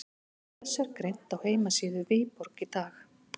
Frá þessu er greint á heimasíðu Viborg í dag.